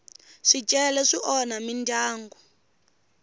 swicele swi onha mindyangu